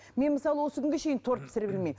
мен мысалы осы күнге шейін торт пісіре білмеймін